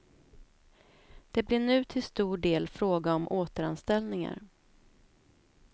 Det blir nu till stor del fråga om återanställningar.